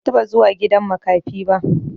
Ban taɓa zuwa gidan makafi ba.